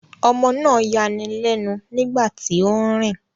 Ọmọ náà ń yani lẹ́nu nígbà tí ó ń rìn